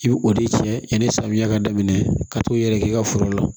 I bi o de cɛ yani samiya ka daminɛ ka t'u yɛrɛkɛ i ka foro la